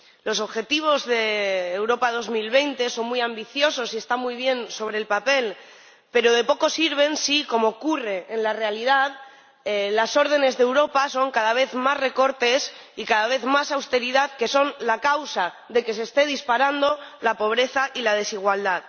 Los objetivos de la Estrategia Europa 2020 son muy ambiciosos y están muy bien sobre el papel, pero de poco sirven si, como ocurre en la realidad, las órdenes de Europa son cada vez más recortes y cada vez más austeridad, que son la causa de que se estén disparando la pobreza y la desigualdad.